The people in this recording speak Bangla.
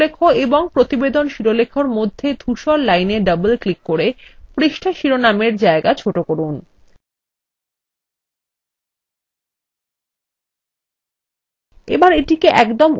প্রথমে পৃষ্ঠা শিরোলেখ এবং প্রতিবেদন শিরোলেখএর মধ্যে ধূসর lineএ double ক্লিক করে পৃষ্ঠা শিরোনামএর জায়গা ছোট করুন